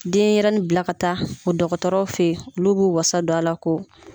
Denɲɛrɛnin bila ka taa o dɔgɔtɔrɔw fɛ ye olu b'u wasa don a la ko